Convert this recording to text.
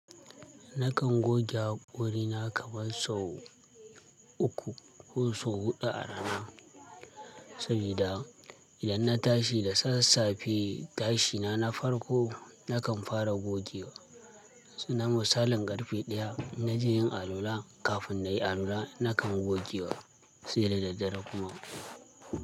Nakan goge wuri na kamar sau uku ko sau huɗu a rana. Sabida idan na tashi da sassafe tashi na na farko nakan fara gogewa. Namu salon ƙarfe ɗaya na je yin alwala kafin na yi alwala nakan gogewa sai da daddare kuma.